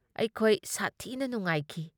ꯑꯩꯈꯣꯏ ꯁꯥꯊꯤꯅ ꯅꯨꯉꯥꯏꯈꯤ ꯫